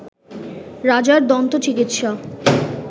রাজার দন্ত চিকিৎসা